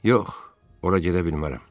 Yox, ora gedə bilmərəm.